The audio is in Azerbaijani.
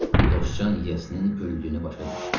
Dostcan yiyəsinin öldüyünü başa düşdü.